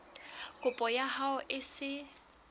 kopo ya hao e se